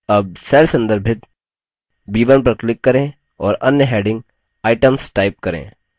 अब cell संदर्भित b1 पर click करें और अन्य heading items type करें